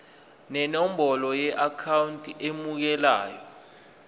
nenombolo yeakhawunti emukelayo